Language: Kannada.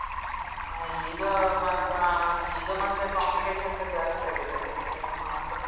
ಈಗ ಆ ಈಗ ಮತ್ತೆ competitions ಜಾಸ್ತಿಯಾಗಿದೆಯಲ್ಲ, so ಹಾಗೆ.